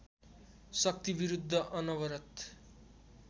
शक्तिविरुद्ध अनवरत